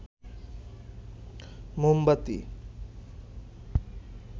মোমবাতি